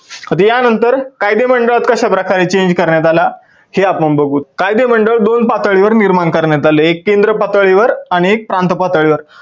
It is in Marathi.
आता या नंतर कायदे मंडळात कश्या प्रकारे change करण्यात आला हे आपण बघू. कायदे मंडळ दोन पातळीवर निर्माण करण्यात आले एक एक केंद्र पातळीवर आणि एक प्रांत पातळीवर.